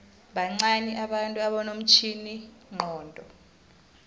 bancani abantu abanomtjhiningcondo